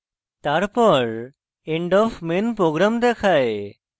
তারপর end of main program দেখায়